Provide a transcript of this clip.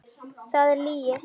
Það er lygi!